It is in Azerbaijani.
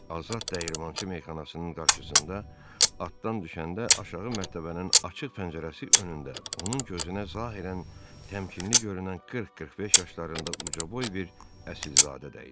Azad Dəyirmançı Meyxanasının qarşısında atdan düşəndə aşağı mərtəbənin açıq pəncərəsi önündə onun gözünə zahirən təmkinli görünən 40-45 yaşlarında ucaboy bir əsilzadə də idi.